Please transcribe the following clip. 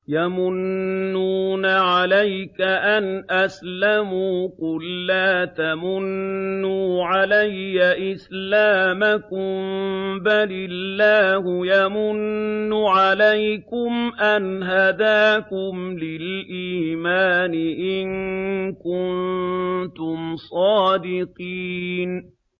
يَمُنُّونَ عَلَيْكَ أَنْ أَسْلَمُوا ۖ قُل لَّا تَمُنُّوا عَلَيَّ إِسْلَامَكُم ۖ بَلِ اللَّهُ يَمُنُّ عَلَيْكُمْ أَنْ هَدَاكُمْ لِلْإِيمَانِ إِن كُنتُمْ صَادِقِينَ